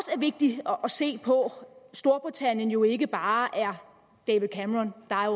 vigtigt at se på at storbritannien jo ikke bare er david cameron der er